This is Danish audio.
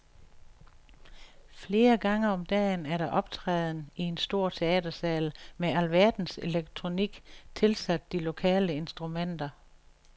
Flere gange om dagen er der optræden i en stor teatersal med alverdens elektronik tilsat de lokale instrumenter.